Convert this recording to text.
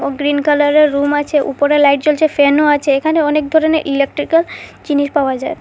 ও green কালারের room আছে উপরে লাইট জ্বলছে ফ্যানও আছে এখানে অনেক ধরনের ইলেকট্রিক্যাল জিনিস পাওয়া যায়।